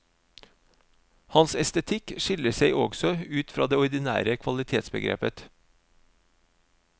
Hans estetikk skiller seg også ut fra det ordinære kvalitetsbegrepet.